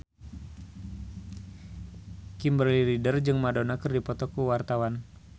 Kimberly Ryder jeung Madonna keur dipoto ku wartawan